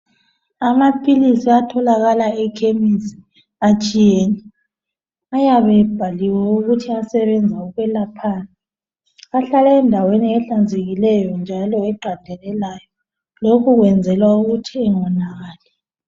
Amapills atholakala ekhemisi atshiyene ayabe ebhaliwe ngokuthi ayelaphani ahlala endaweni eyabe ihlanzikile njalo eqandelelayo lokhu kwenzela ukuthi ingawonakali